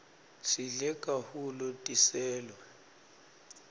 sidle kahulu tiselo